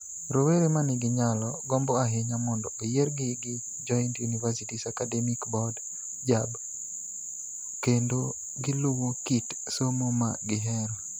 Rowere ma nigi nyalo, gombo ahinya mondo oyiergi gi Joint Universities Academic Board (JAB) kendo giluw kit somo ma gihero.